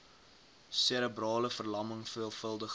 serebrale verlamming veelvuldige